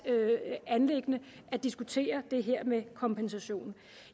anliggende at diskutere det her med kompensation